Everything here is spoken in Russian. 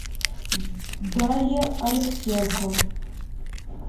дарья алексенко